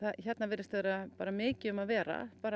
hérna virðist vera mikið um að vera